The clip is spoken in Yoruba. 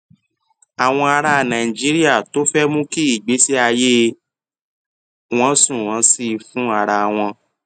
àwọn ará nàìjíríà tó fé mú kí ìgbésí ayé wọn sunwòn sí i fún ara wọn